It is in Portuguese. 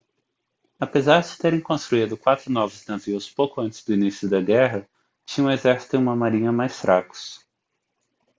apesar de terem construído quatro novos navios pouco antes do início da guerra tinham um exército e uma marinha mais fracos